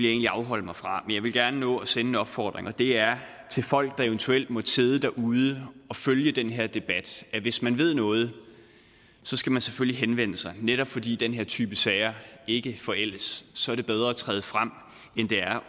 egentlig afholde mig fra men jeg vil gerne nå at sende en opfordring og det er til folk der eventuelt måtte sidde derude og følge den her debat at hvis man ved noget skal man selvfølgelig henvende sig netop fordi den her type sager ikke forældes så er det bedre at træde frem end det er